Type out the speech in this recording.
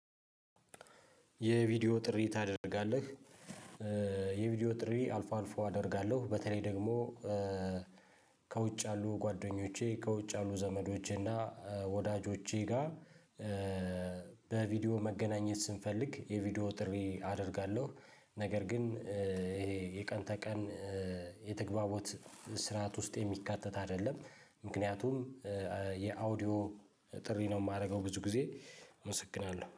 የቪዲዮ ጥሪ ታደርጋለህ? የቪዲዮ ጥሪ አልፎ አልፎ አደርጋለሁ በተለይ ደግሞ ከውጭ ያሉ ጓደኞቼ ከውጭ ያሉ ዘመዶቼ እና ወዳጆቼ ጋር በቪዲዮ መገናኘት ስንፈልግ የቪዲዮ ጥሪ አደርጋለሁ። ነገር ግን ይሄ የቀን ተቀን የተግባቦት ስርዓት ውስጥ የሚካተት አይደለም። ምክንያቱም የኦዲዮ ጥሪ ነው የማደርገው ብዙ ጊዜ እመሰግናለሁ